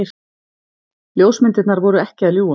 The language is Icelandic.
Ljósmyndirnar voru ekki að ljúga.